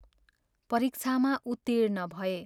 परीक्षामा उत्तीर्ण भए।